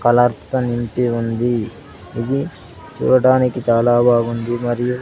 Colours అన్ని ఉంది ఇది చూడటానికి చాలా బాగుంది మరియు.